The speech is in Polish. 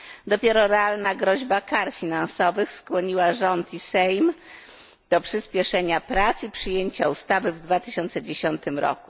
Dopiero realna groźba kar finansowych skłoniła rząd i sejm do przyspieszenia prac i przyjęcia ustawy w 2010 r.